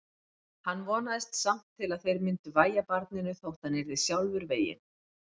Hann vonaðist samt til að þeir myndu vægja barninu þótt hann yrði sjálfur veginn.